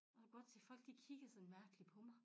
Og kunne godt se folk de kiggede sådan mærkeligt på mig